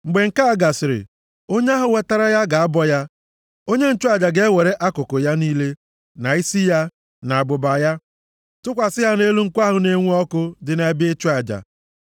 Mgbe nke a gasịrị, onye ahụ wetara ya, ga-abọ ya. Onye nchụaja ga-ewere akụkụ ya niile, na isi ya, na abụba ya tụkwasị ha nʼelu nkụ ahụ na-enwu ọkụ dị nʼebe ịchụ aja.